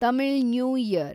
Tamil new year